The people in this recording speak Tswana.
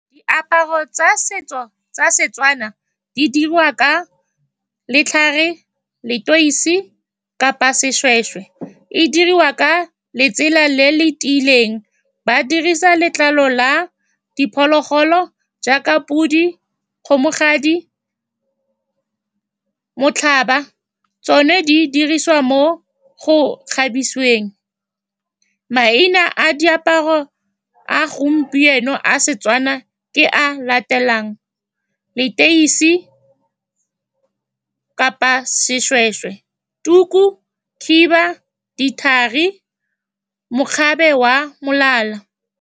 Diaparo tsa setso tsa Setswana di dirwa ka letlhare, leteisi, kapa seshweshwe. E diriwa ka letsela le le tiileng. Ba dirisa letlalo la diphologolo jaaka pudi, kgomogadi, motlhaba. Tsone di dirisiwa mo go kgabisiweng. Maina a diaparo a gompieno a Setswana ke a a latelang, leteisi kapa seshweshwe, tuku, khiba, dithari, mokgabe wa molala.